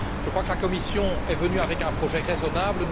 Je crois que la Commission est venue avec un projet raisonnable.